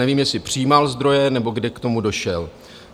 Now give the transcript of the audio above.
Nevím, jestli přijímal zdroje, nebo kde k tomu došel.